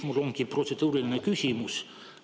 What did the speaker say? Mul ongi protseduuriline küsimus.